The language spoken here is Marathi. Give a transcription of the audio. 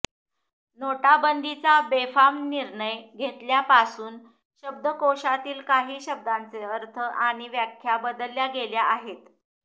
नोटाबंदीचा बेफाम निर्णय घेतल्यापासून शब्दकोशातील काही शब्दांचे अर्थ आणि व्याख्या बदलल्या गेल्या आहेत